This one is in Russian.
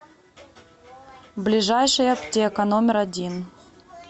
ближайший аптека номер один